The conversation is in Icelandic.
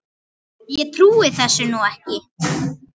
Ég trúi þessu nú ekki!